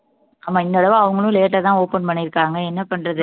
ஆமா இந்த தடவை அவங்களும் late ஆ தான் open பண்ணியிருக்காங்க என்ன பண்றது